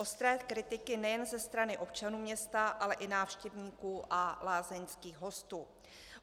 - ostré kritiky nejen ze strany občanů města, ale i návštěvníků a lázeňských hostů.